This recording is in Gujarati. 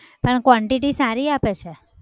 પણ quantity સારી આપે છે.